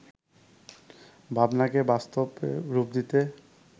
ভাবনাকে বাস্তবে রূপ দিতে